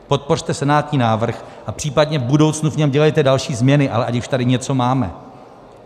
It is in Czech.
Podpořte senátní návrh a případně v budoucnu v něm dělejte další změny, ale ať už tady něco máme.